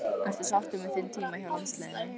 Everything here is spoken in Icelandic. Ertu sáttur með þinn tíma hjá landsliðinu?